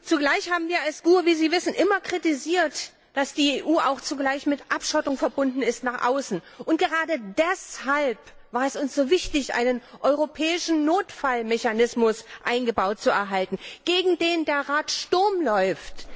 Zugleich haben wir als GUE wie Sie wissen immer kritisiert, dass die EU auch zugleich mit Abschottung nach außen verbunden ist. Gerade deshalb war es uns so wichtig, einen europäischen Notfallmechanismus eingebaut zu erhalten, gegen den der Rat Sturm läuft.